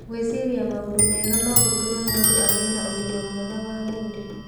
Gwĩciria maũndũ mega no gũtũme mũndũ agĩe na ũgima mwega wa mwĩrĩ.